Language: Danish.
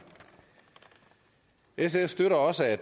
sf støtter også at